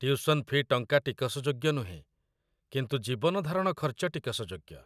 Tuition fee' ଟଙ୍କା ଟିକସଯୋଗ୍ୟ ନୁହେଁ, କିନ୍ତୁ ଜୀବନଧାରଣ ଖର୍ଚ୍ଚ ଟିକସଯୋଗ୍ୟ।